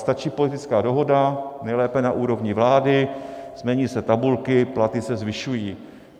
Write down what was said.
Stačí politická dohoda, nejlépe na úrovni vlády, změní se tabulky, platy se zvyšují.